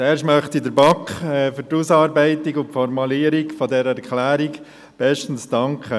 Zuerst möchte ich der BaK für die Ausarbeitung und Formulierung dieser Erklärung bestens danken.